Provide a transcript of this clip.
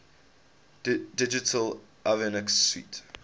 digital avionics suite